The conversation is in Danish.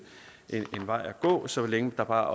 vej at gå så længe der bare